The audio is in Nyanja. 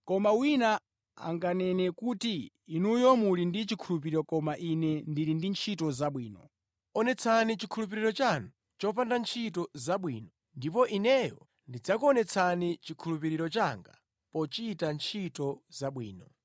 Koma wina anganene kuti, “Inuyo muli ndi chikhulupiriro koma ine ndili ndi ntchito zabwino.” Onetsani chikhulupiriro chanu chopanda ntchito zabwino ndipo ineyo ndidzakuonetsani chikhulupiriro changa pochita ntchito zabwino.